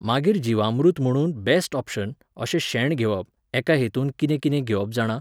मागीर जीवामृत म्हणून बॅस्ट ऑप्शन, अशें शेण घेवप, एका हेतूंत कितें कितें घेवप जाणा